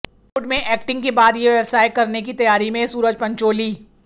बॉलीवुड में एक्टिंग के बाद ये व्यवसाय करने की तैयारी में सूरज पंचोली